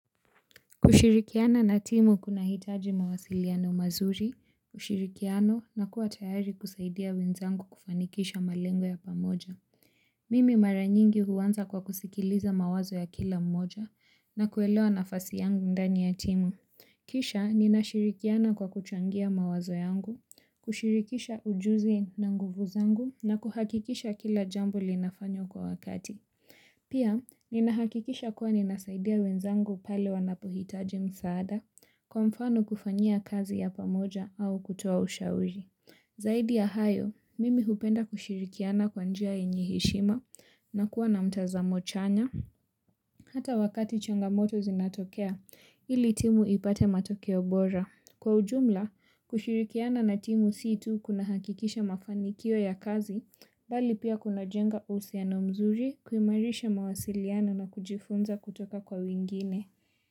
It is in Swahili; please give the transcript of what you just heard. Kushirikiana na timu kunahitaji mawasiliano mazuri, ushirikiano na kuwa tayari kusaidia wenzangu kufanikisha malengo ya pamoja. Mimi mara nyingi huanza kwa kusikiliza mawazo ya kila mmoja na kuelewa nafasi yangu ndani ya timu. Kisha ninashirikiana kwa kuchangia mawazo yangu, kushirikisha ujuzi na nguvu zangu na kuhakikisha kila jambo linafanywa kwa wakati. Pia, ninahakikisha kuwa ninasaidia wenzangu pale wanapohitaji msaada kwa mfano, kufanya kazi ya pamoja au kutoa ushauri. Zaidi ya hayo, mimi hupenda kushirikiana kwa njia yenye heshima na kuwa na mtazamo chanya. Hata wakati changamoto zinatokea, ili timu ipate matokeo bora. Kwa ujumla, kushirikiana na timu si tu kunahakikisha mafanikio ya kazi, bali pia kunajenga uhusiano mzuri, kuimarisha mawasiliano na kujifunza kutoka kwa wengine.